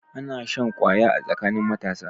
Ana shan kwaya a tsakanin matasa.